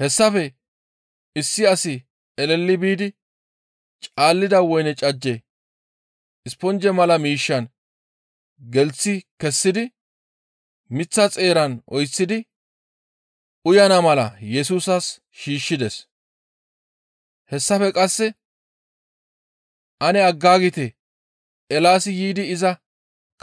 Hessafe issi asi eleli biidi caalida woyne cajje isponje mala miishshan gelththi kessidi miththa xeeran oyththidi uyana mala Yesusas shiishshides. Hessafe qasse, «Ane aggaagite; Eelaasi yiidi iza